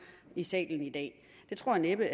i salen i dag tror jeg næppe